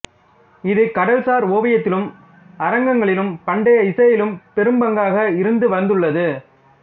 இது கடல்சார் ஓவியத்திலும் அரங்கங்களிலும் பண்டைய இசையிலும் பெரும்பங்காக இருந்து வந்துள்ளது